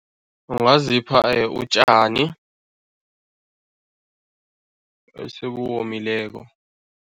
Ungazipha utjani esebuwomileko.